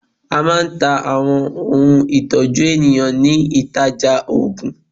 A máa ń ta Àwọn ohun ìtọ́jú eyín nílé ìtajà òògùn.